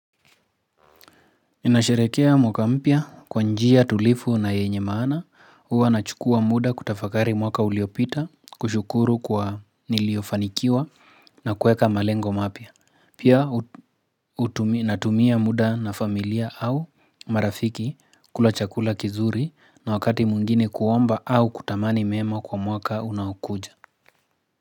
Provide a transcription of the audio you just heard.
Ninasherehekea mwaka mpya kwa njia tulivu na yenye maana huwa na chukua muda kutafakari mwaka uliopita kushukuru kwa niliofanikiwa na kuweka malengo mapya. Pia natumia muda na familia au marafiki kula chakula kizuri na wakati mwingine kuomba au kutamani mema kwa mwaka unaokuja.